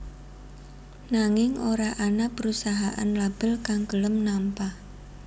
Nanging ora ana perusahaan label kang gelem nampa